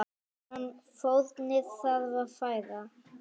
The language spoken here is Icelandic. Hvaða fórnir þarf að færa?